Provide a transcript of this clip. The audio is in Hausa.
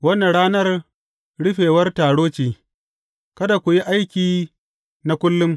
Wannan ranar rufewar taro ce; kada ku yi aiki na kullum.